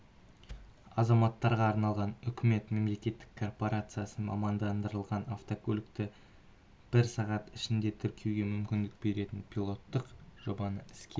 азаматтарға арналған үкімет мемлекеттік корпорациясы мамандандырылған автокөлікті бір сағат ішінде тіркеуге мүмкіндік беретін пилоттық жобаны іске